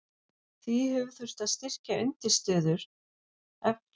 Því hefur þurft að styrkja undirstöður evklíðskrar rúmfræði með fleiri frumreglum.